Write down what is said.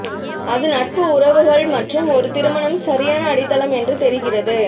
அது நட்பு உறவுகள் மற்றும் ஒரு திருமணம் சரியான அடித்தளம் என்று தெரிகிறது